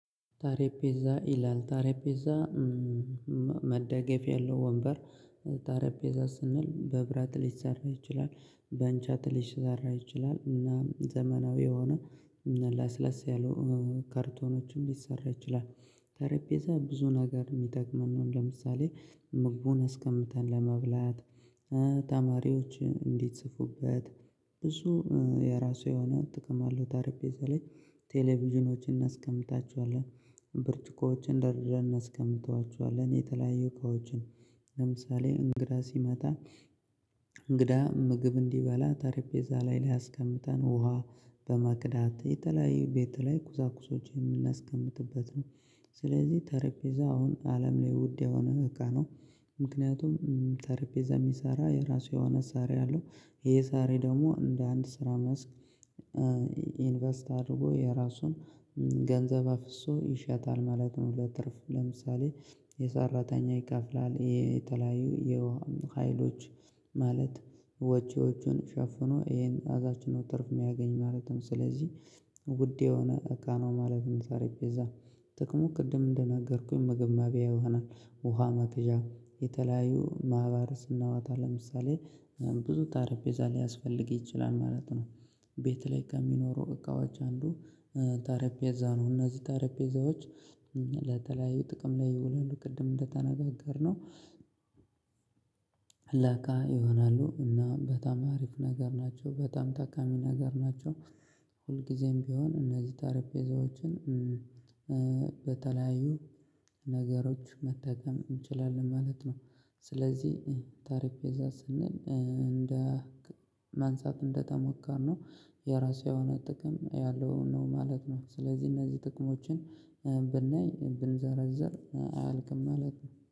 ጠረጴዛ ይላል ጠረጴዛ መደገፊያ ያለው ወንበር ጠረጴዛ ስንል በብረት ሊሰራ ይችላል በእንጨት ሊሰራ ይችላል እና ዘመናዊ የሆነ ለስለስ ያሉ ካርቶኖችም ሊሰራ ይችላል ጠረጴዛ ብዙ ነገርም ሊጠቅመን ነው ለምሳሌ ምግቡን አስቀምጠን ለመብላት ተማሪዎች እንዶጽፉበት ብዙ የራሱ የሆነ ጥቅም አለው ጠረጴዛ ላይ ቴሌቪዥኖችን እናስቀምጣቸዋለን ብርጭቆዎችን ደርደርን አናስቀምጧቸዋለን የተለያዩ እቃዎችን ለምሳሌ እንግዳ ሲመጣ እንግዳ ምግብ እንዲበላ ጠረጴዛ ላይ አስቀምጠን ውሃ በቅዳመት የተለያዩ ቤት ላይ ቁሳቁሶችን የምናስቀምጥበት ነው። ስለዚህ ጠረጴዛ አሁን አለም ላይ ውድ የሆነ እቃ ነው። ምክንያቱም ጠርጴዛ የሚሰራ የራሱ የሆነ ሰሪ አለው። ይሄ ሰሪ ደግሞ እንደ አንድ ስራ መስክ ኢንቨስት አድርጎ የራሱን ገንዘብ አፍሶ ይሸጣል ማለት ነው ለትርፍ ለምሳሌ የሰራተኛ ይከፍላል የተለያዩ የውሃ ሀይሎች ማለት ወጪዎቹን ሸፍኖ ይሄን ከዛች ነው ትርፍ የሚያገኝ ማለት ነው። ስለዚህ ውድ የሆነ እቃ ነው ማለት ነው ጠረጴዛ። ጥቅሙ ቅድም እንደነገርኩኝ ምግብ መቢያ ይሆናል፣ ውሃ መቅዣ፣ የተለያዩ ማህበር ስናወጣ ለምሳሌ ብዙ ጠረጴዛ ሊያስፈልግ ይችላል ማለት ነው። ቤት ላይ ከሚኖሩ እቃዎች አንዱ ጠረጴዛ ነው። እነዚህ ጠረጴዛዎች ለተለያየ ጥቅም ላይ ይውለሉ ቅድም እንደተነጋገርነው ለቃ ይሆናሉ እና በጣም አሪፍ ነገር ናቸው በጣም ጠቃሚ ነገር ናቸው። ሁልጊዜም ቢሆን እነዚህ ጠረጴዛዎችን በተለያዩ ነገሮች መጠቀም እንችላለን ማለት ነው። ስለዚህ ጠረጴዛ ስንል እንደ ማንሳት እንደተሞከርነው የራሱ የሆነ ጥቅም ያለውን ነው ማለት ነው። ስለዚህ እነዚህ ጥቅሞችን ብናይ ብንዘረዝር አያልቅም ማለት ነው።